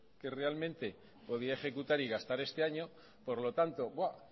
que realmente podía ejecutar y gastar este año por lo tanto